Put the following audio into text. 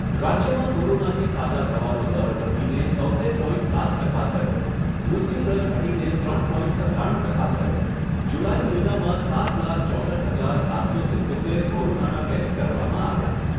રાજ્યમાં કોરોનાથી સાજા થવાનો દર વધીને તોત્તેર પોઇન્ટ સાત ટકા થયો. મૃત્યુદર ઘટીને ત્રણ પોઇન્ટ સત્તાણું ટકા થયો. જુલાઈ મહિનામાં સાત લાખ ચોસઠ હજાર સાતસો સિત્તોતેર કોરોનાના ટેસ્ટ કરવામાં આવ્યાં.